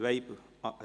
Wem gehört dieser?